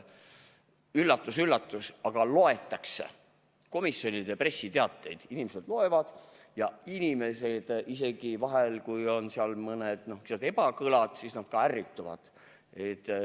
Üllatus-üllatus, aga komisjonide pressiteateid inimesed loevad ja vahel, kui seal on mõni ebakõlad, siis nad ärrituvad.